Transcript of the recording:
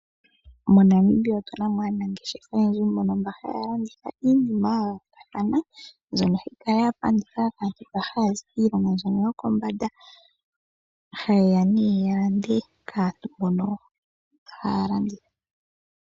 MoNamibia otuna mo aanangeshefa oyendji mbono haya landitha iinima ya yoolokathana mbyono hayi kala ya pandika kaantu mba haya zi kiilongo mbyono yokombanda hayeya ya lande kaantu mbono haya landitha.